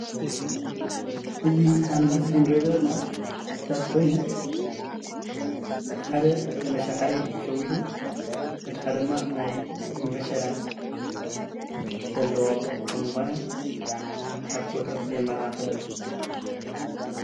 እዚ ኣብ ምስሊ እንሪኦ ዘለና ተኽልታት ኾይኑ እቲ ሓደ ምሸላባሕሪ ብሸዊቱ እቲ ሓደ ድማ ናይ ምሸላ ዘለዎ ከም ዝኾነ ኣፍቲ ፎቶ የመላኽት እዩ።